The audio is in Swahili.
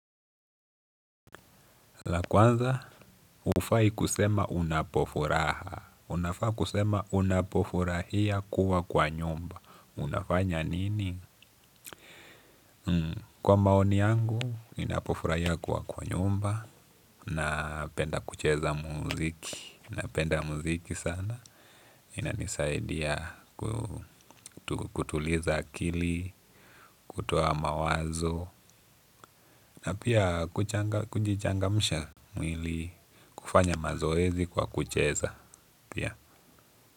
La kwanza ufai kusema unapofuraha. Unafai kusema unapofurahia kuwa kwa nyumba. Unafanya nini? Kwa maoni yangu, ninapofurahia kuwa kwa nyumba napenda kucheza muziki. Napenda muziki sana. Inanisaidia kutuliza akili, kutowa mawazo napia kujichangamsha mwili kufanya mazoezi kwa kucheza ya.